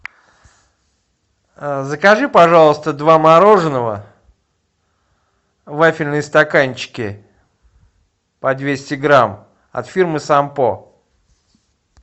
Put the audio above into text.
закажи пожалуйста два мороженого вафельные стаканчики по двести грамм от фирмы сампо